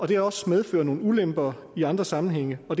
det også medfører nogle ulemper i andre sammenhænge og